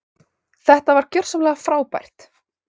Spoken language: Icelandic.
Þetta var gjörsamlega frábært.